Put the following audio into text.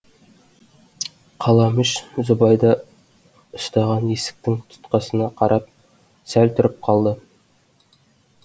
қаламүш зүбайда ұстаған есіктің тұтқасына қарап сәл тұрып қалды